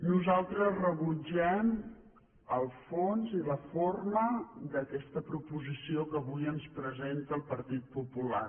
nosaltres rebutgem el fons i la forma d’aquesta proposició que avui ens presenta el partit popular